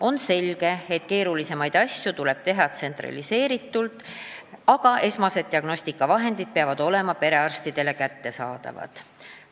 On selge, et keerulisemaid asju tuleb teha tsentraliseeritult, aga esmased diagnostikavahendid peavad olema perearstidele kättesaadavad.